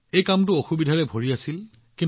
এইটো এটা কঠিন কাম আছিল